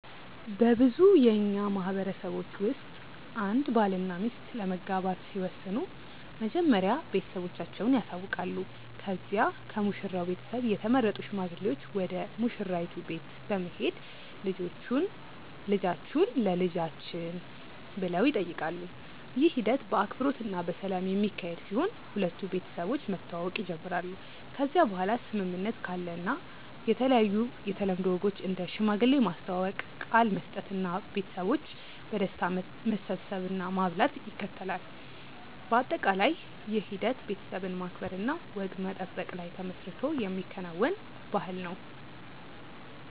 በብዙ የእኛ ማህበረሰቦች ውስጥ አንድ ባልና ሚስት ለመጋባት ሲወስኑ መጀመሪያ ቤተሰቦቻቸውን ያሳውቃሉ ከዚያ ከሙሽራው ቤተሰብ የተመረጡ ሽማግሌዎች ወደ ሙሽራይቱ ቤት በመሄድ ልጆቹን ለልጆችን ብሎ ይጠይቃሉ። ይህ ሂደት በአክብሮት እና በሰላም የሚካሄድ ሲሆን ሁለቱ ቤተሰቦች መተዋወቅ ይጀምራሉ ከዚያ በኋላ ስምምነት ካለ የተለያዩ የተለምዶ ወጎች እንደ ሽማግሌ ማስተዋወቅ፣ ቃል መስጠት እና ቤተሰቦች በደስታ መሰብሰብ እና ማብላት ይከተላል። በአጠቃላይ ይህ ሂደት ቤተሰብን ማክበር እና ወግ መጠበቅ ላይ ተመስርቶ የሚከናወን ባህልን ነው።